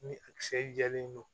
Ni a kisɛ jalen do